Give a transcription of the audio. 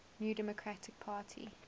new democratic party